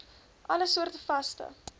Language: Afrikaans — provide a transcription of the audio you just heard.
alle soorte vaste